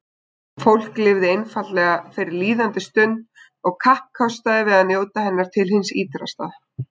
Fólk lifði einfaldlega fyrir líðandi stund og kappkostaði að njóta hennar til hins ýtrasta.